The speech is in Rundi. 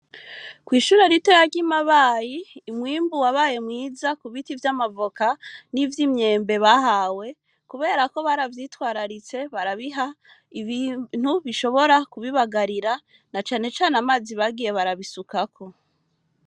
Kw'ishure ritoya ry'i Mabayi, umwimbu wabaye mwiza, ku biti vy'amavoka, n'ivy'imyembe, bahawe; kubera ko, baravyitwararitse, barabiha ibintu bishobora kubibagarira na cane cane amazi bagiye barabisukako.